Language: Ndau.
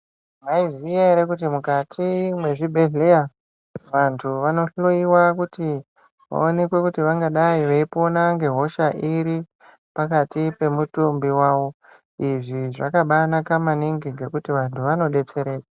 Mwaiziya ere kuti mukati mwezvibhedhleya vantu vanohloyiwa kuti vaonekwe kuti vangadai veipona ngehosha iri pakati pemutumbi wawo . Izvi zvakabanaka maningi ngokuti vantu vanodetsereka.